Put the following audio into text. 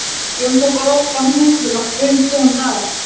Jón tók ofan húfuna og bauð góðan dag.